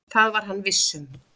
Það var hann viss um.